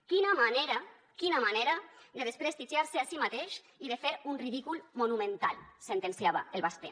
quina manera quina manera de desprestigiar se a si mateix i de fer un ridícul monumental sentenciava el basté